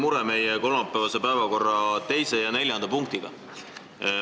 Mul on väike mure kolmapäevase päevakorra 2. ja 4. punktiga.